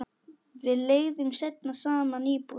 Við leigðum seinna saman íbúð.